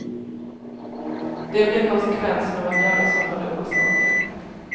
Det blir konsekvensen av att göra såna dumma saker.